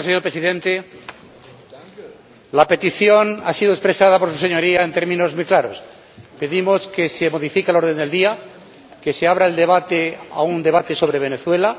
Señor Presidente, la petición ha sido expresada por su Señoría en términos muy claros pedimos que se modifique el orden del día, que se abra un debate sobre Venezuela